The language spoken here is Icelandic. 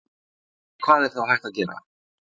En hvað er þá hægt að gera?